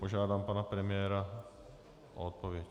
Požádám pana premiéra o odpověď.